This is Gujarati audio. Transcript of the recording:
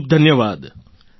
ખૂબખૂબ ધન્યવાદ